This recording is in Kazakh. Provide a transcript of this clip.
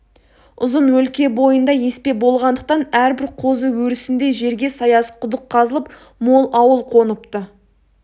ұзын өлке бойында еспе болғандықтан әрбір қозы өрісіндей жерге саяз құдық қазылып мол ауыл қоныпты